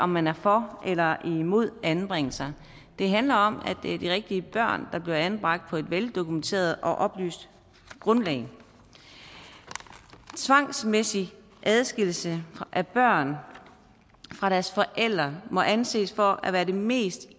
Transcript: man er for eller imod anbringelse det handler om at det er de rigtige børn der bliver anbragt på et veldokumenteret og oplyst grundlag tvangsmæssig adskillelse af børn fra deres forældre må anses for at være den mest